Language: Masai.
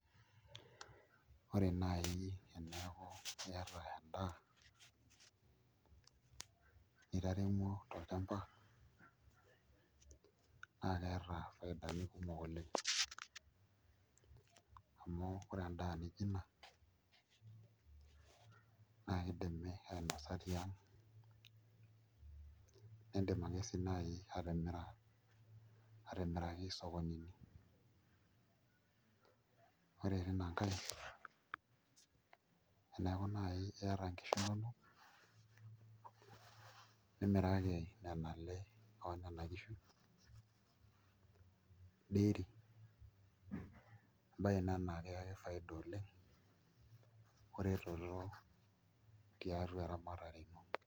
Ore naai eneeku iata endaa nitaremuo tolchamba naa keeta faidani kumok oleng' amu ore endaa nijio ina naa kidimi ainosa tiang' niidim ake sii naai atimira atimiraki isokonini, ore tina nkae eneeku naai iata nkishu inonok nimiraki nena ale oo nena kishu dairy, embaye ina naa kakiyaki faida oleng' oretot tiatua eramatare ino.